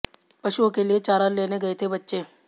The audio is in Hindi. पशुओं के लिए चारा लेने गए थे बच्चे